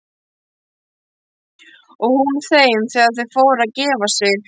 Og hún þeim þegar þau fóru að gefa sig.